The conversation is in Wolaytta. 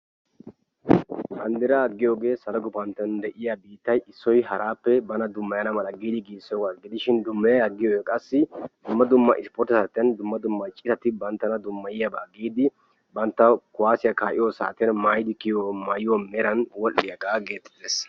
banddiraa giyoogee salo gufantton de'iyaa biittay issoy haraappe bana dummayana mala giidi giigisoba gidishin. dummayiya agiyoogee qassi dumma dumma sportte saatiyaan dumma dumma ciitati banttana dummaiyaaba giidi banttaw kuwaasiyaa ka'iyoo saatiyan banttawu wol"iyaagaa geettetees.